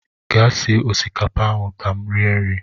Gaa sie osikapa ahụ ka m rie nri!